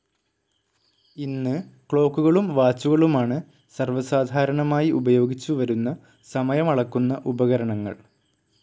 ഇന്ന്, ക്ലോക്കുകളും വാച്ചുകളുമാണ് സർവ്വ സാധാരണമായി ഉപയോഗിച്ചുവരുന്ന സമയമളക്കുന്ന ഉപകരണങ്ങൾ.